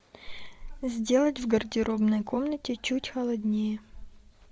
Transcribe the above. сделать в гардеробной комнате чуть холоднее